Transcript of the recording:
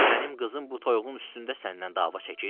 Mənim qızım bu toyuğun üstündə səndən dava çəkir?